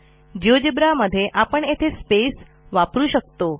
GeoGebra मध्ये आपण येथे स्पेस वापरू शकतो